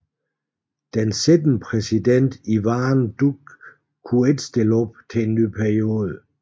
Den siddende præsident Iván Duque kunne ikke stille op til en ny periode